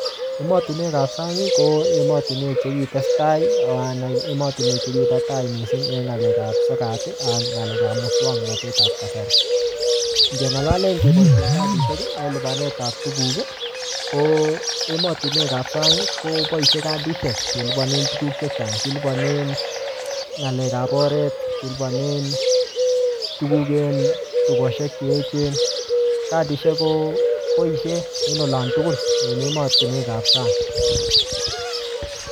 Emotunwek ap sang, ko emotunwek che kitestai, anan emotunwek chekibo tai missing eng ng'alek ap sokat, ak ng'alek ap muswoknotet ap kasari. Ngelale keboisien kadishek, en lipanet ap tuguk, ko emotunwek ap sang, koboisie kadisiek kelipanen tuguk chechang. Kilipanen ng'alek ap oret, kelipanen tuguk en tukoshek che echen. Kadisiek ko boisie en olon tugul en emotunwek ap sang